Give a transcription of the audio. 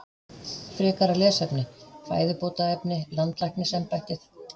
Frekara lesefni: Fæðubótarefni- Landlæknisembættið.